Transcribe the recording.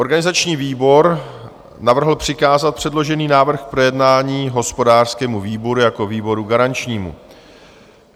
Organizační výbor navrhl přikázat předložený návrh k projednání hospodářskému výboru jako výboru garančnímu.